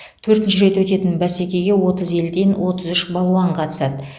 төртінші рет өтетін бәсекеге отыз елден отыз үш балуан қатысады